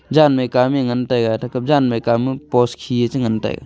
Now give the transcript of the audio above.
jan Mai kan ya ngan taiga thejap jan Mai kan ya post khi ye chi ngan taiga.